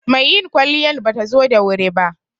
Mai yin kwaliyan batazo da wuri ba